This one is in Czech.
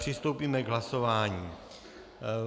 Přistoupíme k hlasování.